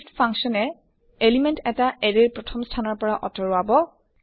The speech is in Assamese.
shift functionয়ে এলিমেন্ট এটা এৰে ৰ প্ৰথম স্থানৰ পৰা আতৰাব